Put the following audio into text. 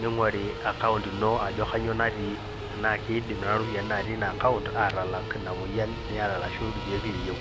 neing'ori account ino ajo akainyoo natii tenaa keidim nena ropiani natii ina account aatalak ina moyian niyata orashu irkeek liyeu.